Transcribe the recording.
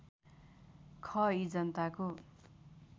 ख यी जनताको